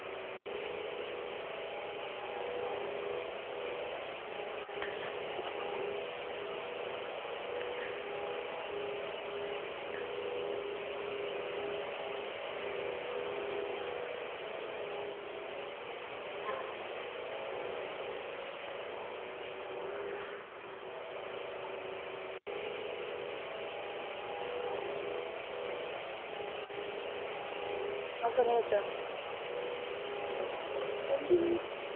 off பண்ணியாச்சா